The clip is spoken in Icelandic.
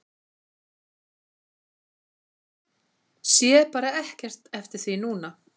Sé bara ekkert eftir því núna.